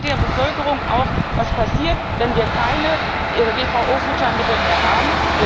Erklären Sie der Bevölkerung auch was passiert, wenn wir keine GVO Futtermittel mehr haben?